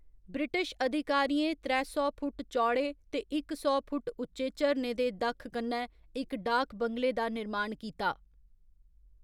British अधिकारियें त्रै सौ फुट्ट चौड़े ते इक सौ फुट्ट उच्चे झरने दे दक्ख कन्नै इक डाक बंगले दा निर्माण कीता।